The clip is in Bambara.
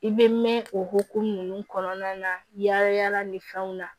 I bɛ mɛn o hukumu kɔnɔna na yaala yaala ni fɛnw na